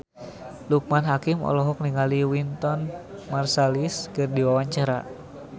Loekman Hakim olohok ningali Wynton Marsalis keur diwawancara